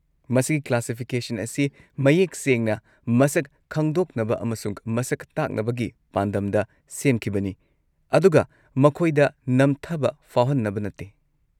ꯃꯁꯤꯒꯤ ꯀ꯭ꯂꯥꯁꯤꯐꯤꯀꯦꯁꯟ ꯑꯁꯤ ꯃꯌꯦꯛ ꯁꯦꯡꯅ ꯃꯁꯛ ꯈꯪꯗꯣꯛꯅꯕ ꯑꯃꯁꯨꯡ ꯃꯁꯛ ꯇꯥꯛꯅꯕꯒꯤ ꯄꯥꯟꯗꯝꯗ ꯁꯦꯝꯈꯤꯕꯅꯤ ꯑꯗꯨꯒ ꯃꯈꯣꯏꯗ ꯅꯝꯊꯕ ꯐꯥꯎꯍꯟꯅꯕ ꯅꯠꯇꯦ꯫